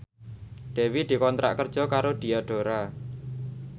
Dewi dikontrak kerja karo Diadora